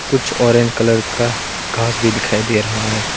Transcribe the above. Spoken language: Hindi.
कुछ ऑरेंज कलर का घास भी दिखाई दे रहा है।